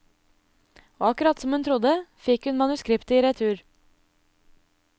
Og akkurat som hun trodde, fikk hun manuskriptet i retur.